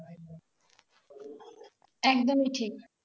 একদমই ঠিক